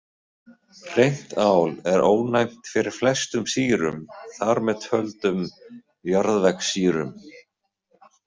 Hreint ál er ónæmt fyrir flestum sýrum, þar með töldum jarðvegssýrum.